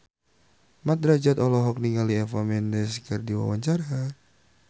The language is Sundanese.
Mat Drajat olohok ningali Eva Mendes keur diwawancara